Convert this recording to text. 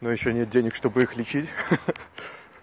но ещё нет денег чтобы их лечить ха-ха